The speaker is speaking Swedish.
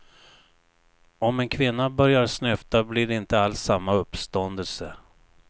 Om en kvinna börjar snyfta blir det inte alls samma uppståndelse.